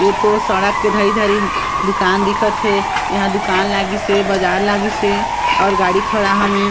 एतो सड़क के धरी-धरी दुकान दिखत हे यहाँ दुकान लगिस हे बाजार लगिस हे और गाड़ी खड़ा हवे।